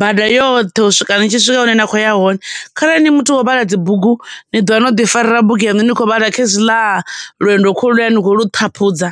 bada yoṱhe u swika ni tshi swika hune na khou ya hone, kharali ni muthu wa u vhala dzibugu, ni ḓovha no ḓi farela bugu yaṋu ni khou vhala khezwiḽa lwendo kholuya ni khou lu ṱhaphudza.